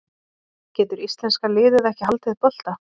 Getur íslenska liðið ekki haldið bolta?